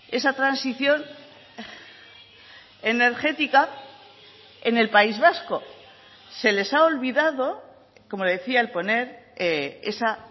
esa transición energética en el país vasco se les ha olvidado como le decía el poner esa